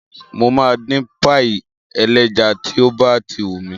Mo ma dín páyì ẹlẹ́ja tí ó bá ti wùn mí